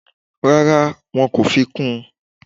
Rárá, wọn kò fi kún un